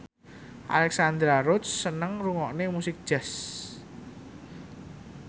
Alexandra Roach seneng ngrungokne musik jazz